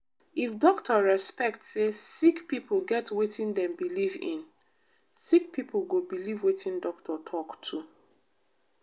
if doctor respect say sick pipo get wetin dem believe in sick pipo go believe wetin doctor talk too.